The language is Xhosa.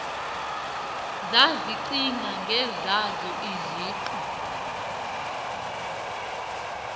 zazicinga ngezazo iziqu